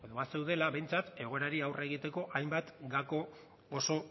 bazeudela behintzat egoerari aurre egiteko hainbat gako oso